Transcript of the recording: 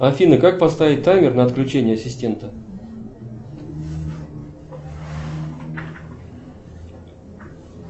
афина как поставить таймер на отключение ассистента